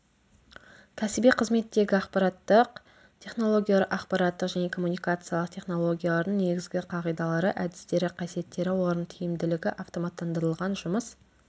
кәсіби қызметтегі ақпараттық технологиялар ақпараттық және коммуникациялық технологиялардың негізгі қағидалары әдістері қасиеттері олардың тиімділігі автоматтандырылған жұмыс